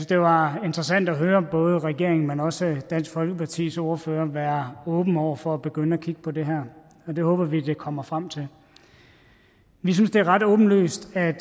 det var interessant at høre både regeringen men også dansk folkepartis ordfører være åben over for at begynde at kigge på det her og det håber vi det kommer frem til vi synes det er ret åbenlyst at